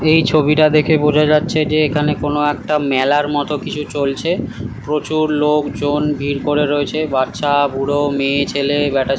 এই ছবিটা দেখে বোঝা যাচ্ছে যে এখানে কোন একটা মেলার মত কিছু চলছে। প্রচুর লোক জন ভিড় করে রয়েছে। বাচ্চা বুড়ো মেয়ে ছেলে ব্যাটা ছে --